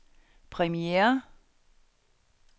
premiere